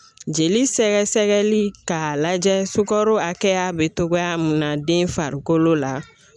Jeli sɛgɛ sɛgɛli k'a lajɛ sukaro hakɛya be togoya mun na den farikolo la